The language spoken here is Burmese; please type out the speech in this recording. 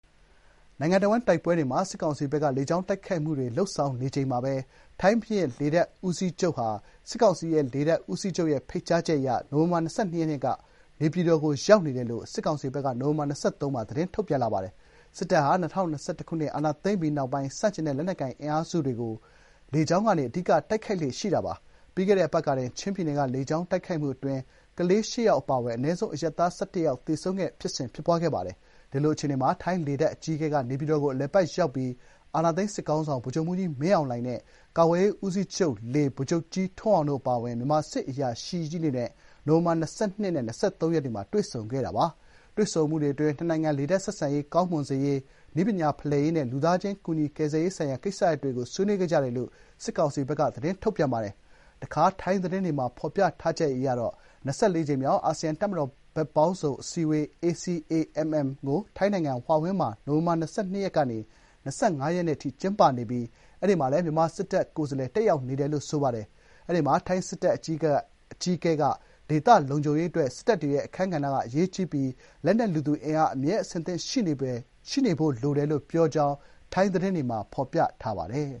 နိုင်ငံတဝန်းတိုက်ပွဲတွေမှာ စစ်ကောင်စီဘက်က လေကြောင်းသုံးပြီး တိုက်ခိုက်နေချိန်မှာပဲ ထိုင်းဘုရင့်လေတပ်ဦးစီးချုပ် Punpakdee Pattanakul ဟာ စစ်ကောင်စီလေတပ် ဦးစီးချုပ်ရဲ့ဖိတ်ကြားချက်အရ နိုဝင်ဘာ ၂၂ ရက်က နေပြည်တော်ကို ရောက်နေတယ်လို့ စစ်ကောင်စီဘက်က နိုဝင်ဘာ ၂၃ ရက်နေ့မှာ သတင်းထုတ်ပြန်ပါတယ်။ စစ်တပ်ဟာ ၂၀၂၁ ခုနှစ် အာဏာသိမ်းပြီးနောက်ပိုင်း ဆန့်ကျင်တဲ့ လက်နက်ကိုင် အင်အားစုတွေကို လေကြောင်းကနေ အဓိက တိုက်ခိုက်လေ့ရှိပြီး ပြီးခဲ့တဲ့ အပတ်ကတင် ချင်းပြည်နယ်က လေကြောင်းတိုက်ခိုက်မှုအတွင်း ကလေး (၈) ယောက် အပါအဝင် အနည်းဆုံး အရပ်သား ၁၁ ယောက် သေဆုံးခဲ့ပါတယ်။ ဒီလို အခြေအနေမှာ ထိုင်းလေတပ်အကြီးအကဲက နေပြည်တော်ကို အလည်အပတ်ရောက်ပြီး အာဏာသိမ်း စစ်ခေါင်းဆောင် ဗိုလ်ချုပ်မှူးကြီး မင်းအောင်လှိုင်နဲ့ ကာကွယ်ရေးဦးစီးချုပ် (လေ) ဗိုလ်ချုပ်ကြီးထွန်းအောင်တို့အပါအဝင် မြန်မာစစ်အရာရှိကြီးတွေနဲ့ နိုဝင်ဘာ ၂၂ နဲ့ ၂၃ ရက်တွေမှာ တွေ့ဆုံခဲ့တာပါ။ တွေ့ဆုံမှုတွေအတွင်း နှစ်နိုင်ငံ လေတပ်ဆက်ဆံရေး ကောင်းမွန်စေရေး၊ နည်းပညာဖလှယ်ရေးနဲ့ လူသားချင်းကူညီကယ်ဆယ်ရေးဆိုင်ရာ ကိစ္စရပ်တွေကို ဆွေးနွေးခဲ့ကြတယ်လို့ စစ်ကောင်စီရဲ့ထုတ်ပြန်ချက်မှာ ဖော်ပြထားပါတယ်။ တခါ ထိုင်းသတင်းတွေမှာ ဖော်ပြချက်အရ (၂၄) ကြိမ်မြောက် အာဆီယံ တပ်မတော် ဘက်ပေါင်းစုံအစည်းအဝေး (ACAMM) ကို ထိုင်းနိုင်ငံ ဟွာဟင်းမှာ နိုဝင်ဘာ ၂၂ ရက်ကနေ ၂၅ ရက်အထိ ကျင်းပနေပြီး အဲဒီမှာလည်း မြန်မာစစ်တပ်ဘက်ကိုယ်စားလှယ်တက်ရောက်နေတယ်လို့ ဆိုပါတယ်။ အဲဒီမှာ ထိုင်းစစ်တပ်အကြီးအကဲက ဒေသလုံခြုံရေးအတွက် စစ်တပ်တွေရဲ့ အခန်းကဏ္ဍကအရေးကြီးပြီး လက်နက် လူသူ အင်အား အမြဲ အဆင်သင့် ရှိနေဖို့လိုတယ်လို့ ပြောကြောင်း ထိုင်းသတင်းမှာ ဖော်ပြထားပါတယ်